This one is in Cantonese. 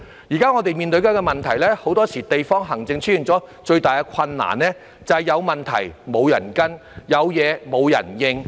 現時我們面對的問題，即很多時候地區行政出現的最大困難，便是有問題沒有人跟進，有事沒有人回應。